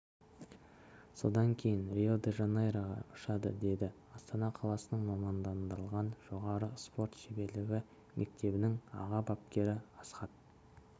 содан кейін рио-де-жанейроға ұшады деді астана қаласының мамандандырылған жоғары спорт шеберлігі мектебінің аға бапкері асхат